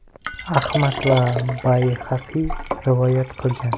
Ahmad va Bayhaqiy rivoyat qilgan.